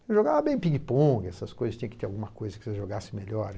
Eu jogava bem pingue-pongue, essas coisas, tinha que ter alguma coisa que você jogasse melhor.